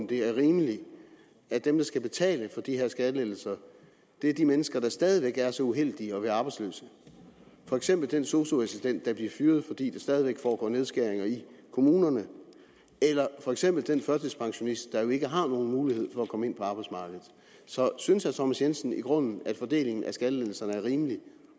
det er rimeligt at dem der skal betale for de her skattelettelser er de mennesker der stadig væk er så uheldige at være arbejdsløse for eksempel den sosu assistent der bliver fyret fordi der stadig væk foregår nedskæringer i kommunerne eller for eksempel den førtidspensionist der jo ikke har nogen mulighed for at komme ind på arbejdsmarkedet så synes herre thomas jensen i grunden at fordelingen af skattelettelserne er rimelig